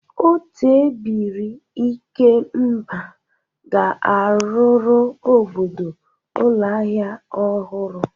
Otu ebiri ikemba ga-arụrụ obodo ụlọ ahịa ọhụrụ.